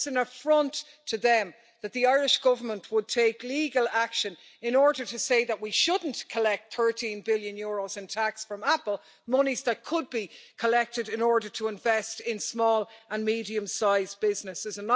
It's an affront to them that the Irish Government would take legal action in order to say that we shouldn't collect EUR 13 billion in tax from Apple monies that could be collected in order to invest in small and medium sized businesses.